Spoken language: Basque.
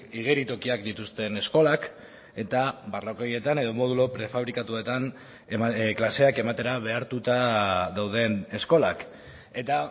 igeritokiak dituzten eskolak eta barrakoietan edo modulo prefabrikatuetan klaseak ematera behartuta dauden eskolak eta